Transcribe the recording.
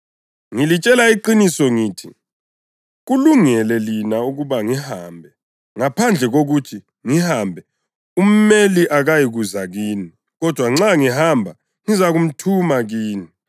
Ngilitshela iqiniso ngithi: Kulungele lina ukuba ngihambe. Ngaphandle kokuthi ngihambe, uMeli akayikuza kini; kodwa nxa ngihamba, ngizamthuma kini.